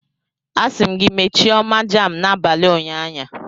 Asi m gi mechie oma jam n'abali unyanya!